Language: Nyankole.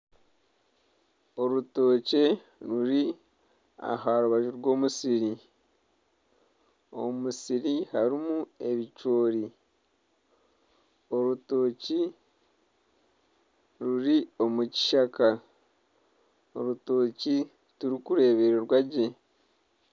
Orutookye ruri aha rubaju rw'omusiri omu musiri harimu orutookye ruri omu kishaka orutookye tirurikureebeka gye